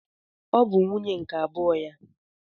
Ọ bụ nwunye nke abụọ ya?